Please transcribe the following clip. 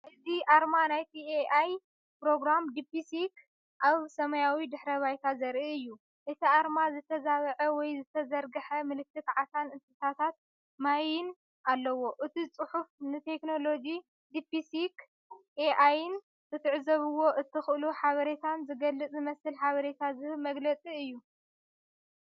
እዚ ኣርማ ናይቲ "ኤኣይ" ፕሮግራም “ዲፕሲስ” ኣብ ሰማያዊ ድሕረ ባይታ ዘርኢ እዩ። እቲ ኣርማ ዝተዛብዐ ወይ ዝተዘርግሐ ምልክት ዓሳን እንስሳታት ማይን ኣለዎ። እቲ ጽሑፍ ንቴክኖሎጂ ዲፕሲስ ኤኣይን ክትዕዘብዎ እትኽእሉ ሓበሬታን ዝገልጽ ዝመስል ሓበሬታ ዝህብ መግለጺ እዩ።